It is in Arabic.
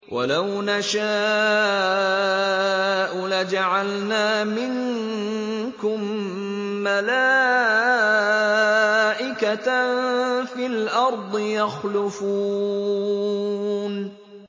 وَلَوْ نَشَاءُ لَجَعَلْنَا مِنكُم مَّلَائِكَةً فِي الْأَرْضِ يَخْلُفُونَ